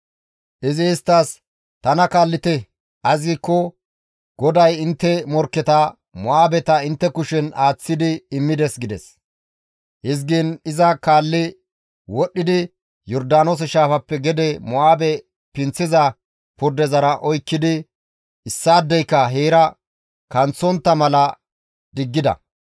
Izi isttas, «Tana kaallite; ays giikko GODAY intte morkketa, Mo7aabeta intte kushen aaththi immides» gides. Hizgiin iza kaalli wodhdhidi Yordaanoose shaafappe gede Mo7aabe pinththiza purdeza oykkidi issaadeyka heera kanththontta mala diggida.